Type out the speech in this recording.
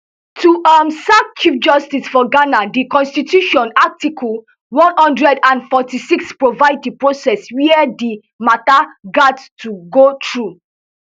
to um sack chief justice for ghana di constitution article one hundred and forty-six provide di process wia di mata gat to go through